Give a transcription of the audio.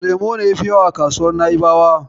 Lemo ne yafi yawa a kasuwar Na'ibawa.